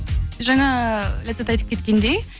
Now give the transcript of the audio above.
жаңа ләззат айтып кеткендей